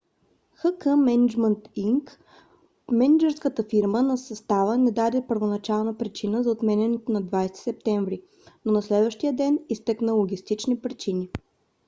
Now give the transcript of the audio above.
х. к. мениджмънт инк мениджърската фирма на състава не даде първоначална причина за отменянето на 20 септември но на следващия ден изтъкна логистични причини